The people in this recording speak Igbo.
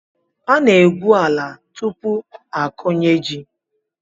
Ana-egwu ala tupu akụnye ji..